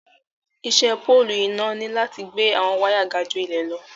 Ìṣẹ pọ̀lụ́ iná ní láti gbẹ̀ awọn wàya gà ju ilẹ̀ lọ.